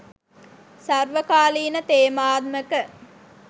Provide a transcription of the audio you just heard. සර්වකාලීන තේමාත්මක